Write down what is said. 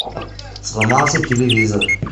сломался телевизор